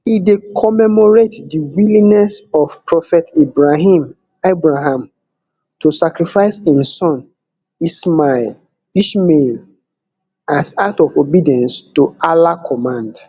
e dey commemorate di willingness of prophet ibrahim abraham to sacrifice im son ismail ishmael as act of obedience to allah command